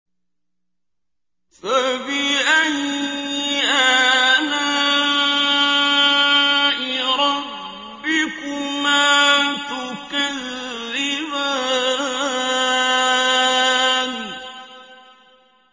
فَبِأَيِّ آلَاءِ رَبِّكُمَا تُكَذِّبَانِ